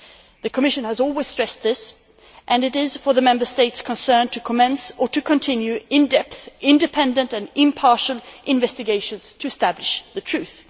The Commission has always stressed this, and it is up to the Member States concerned to commence or to continue in depth, independent and impartial investigations to establish the truth.